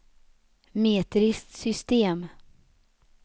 metriskt system